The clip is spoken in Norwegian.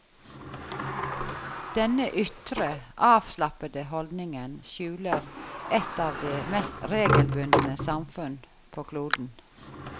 Denne ytre, avslappede holdningen skjuler et av de mest regelbundne samfunn på kloden.